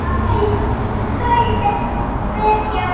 Þau byrja saman.